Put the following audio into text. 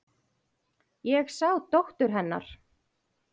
Ég sá dóttur. hennar.